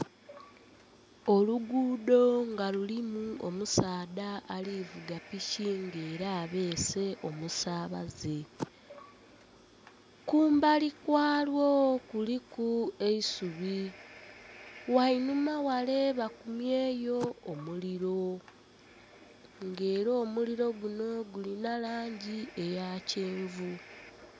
Oluguudo nga lulimu omusaadha alivuga piki nga era abeese omusabaaze kumbali kwalwo kuliku eisubi ghainhuma ghale bakumyeyo omuliro nga era omuliro guno gulina langi eya kyenvu.